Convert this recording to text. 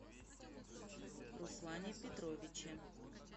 руслане петровиче